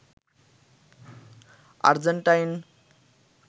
Argentine